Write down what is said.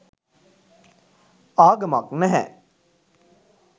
ආගමක් නැහැ